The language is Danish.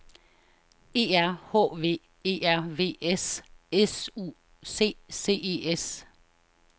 E R H V E R V S S U C C E S